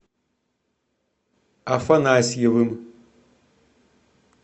афанасьевым